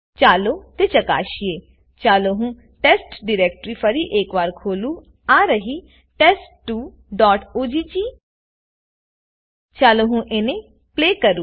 ચાલો તે ચકાશીએચાલો હું Testડિરેક્ટરી ફરી એક વાર ખોલુંઆ રહી TEST2oggચાલો હું અને પ્લે કરુંs